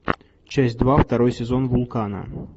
часть два второй сезон вулкана